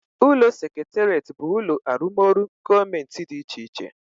Ulo seketeret but ulo arumoru gomenti di iche iche